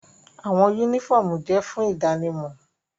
Awọn unifọmú jẹ fun idanimọ